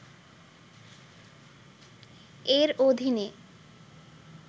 এর অধীনে